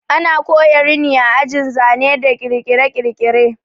Ana koya rini a ajin zane da kirkire-kirkire